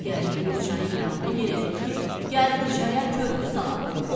Gəldiyi bir çayın yanına yenə dedi ki, gəl bu çaya körpü salaq.